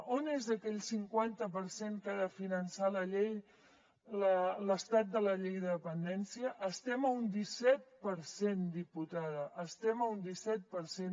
on és aquell cinquanta per cent que ha de finançar l’estat de la llei de dependència estem a un disset per cent diputada estem a un disset per cent